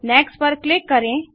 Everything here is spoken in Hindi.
नेक्स्ट पर क्लिक करें